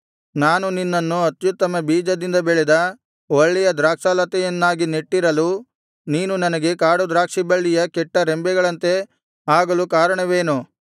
ನಾನು ನಿನ್ನನ್ನು ಅತ್ಯುತ್ತಮ ಬೀಜದಿಂದ ಬೆಳೆದ ಒಳ್ಳೆಯ ದ್ರಾಕ್ಷಾಲತೆಯನ್ನಾಗಿ ನೆಟ್ಟಿರಲು ನೀನು ನನಗೆ ಕಾಡುದ್ರಾಕ್ಷಿಬಳ್ಳಿಯ ಕೆಟ್ಟರೆಂಬೆಗಳಂತೆ ಆಗಲು ಕಾರಣವೇನು